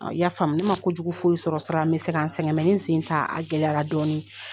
O y'a faamuya ne ma kojugu foyi sɔrɔ sira la min bɛ se ka n sɛgɛn nin sen in ta a gɛlɛyala dɔɔni.